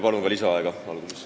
Palun ka lisaaega!